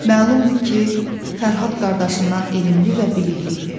Məlumdur ki, Fərhad qardaşından elmli və bilikli idi.